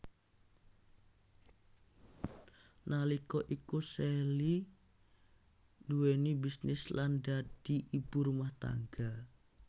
Nalika iku Sally nduwèni bisnis lan dadi ibu rumah tangga